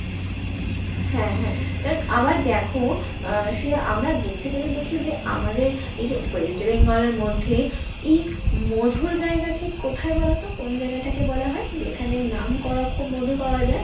হ্যাঁ হ্যাঁ আবার দেখো, আহ শ্রেয়া আমরা দেখতে গেলে দেখি যে আমাদের এইযে West Bengal এর মধ্যে এই মধুর জায়গা ঠিক কোথায় বলোতো? কোন জায়গা টাকে বলা হয়? যেখানে নাম করা খুব মধু পাওয়া যায়?